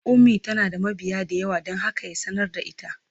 Ummi tana da mabiya da yawa don haka ya sanar da ita.